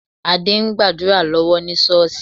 Adé ń gbàdúrà lọ́wọ́ ní Ṣọ́ọ̀ṣì